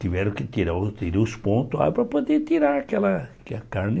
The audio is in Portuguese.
Tiveram que tirar tirei os pontos lá para poder tirar aquela aquela carne.